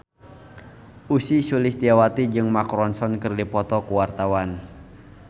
Ussy Sulistyawati jeung Mark Ronson keur dipoto ku wartawan